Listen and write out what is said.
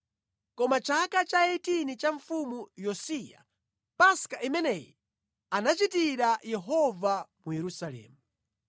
Koma mʼchaka cha 18 cha Mfumu Yosiya, Paska imeneyi anachitira Yehova mu Yerusalemu.